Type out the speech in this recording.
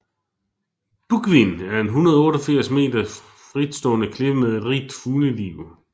Búgvin er en 188 meter fritstående klippe med et rigt fugleliv